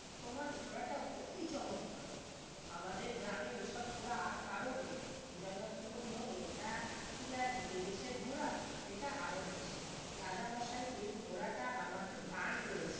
তোমার ঘোড়াটা অতি চমৎকার আমাদের গ্রামে এসব ঘোড়া আর কারো নেই জয় দত্ত বললো এটা কি আর এই দেশের ঘোড়া এটা আরব দেশের রাজা মশাই এই ঘোড়াটা আমাকে দান করেছেন